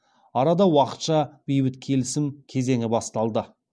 арада уақытша бейбіт келісім кезеңі басталды